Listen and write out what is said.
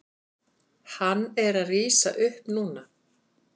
Hann er að rísa upp núna.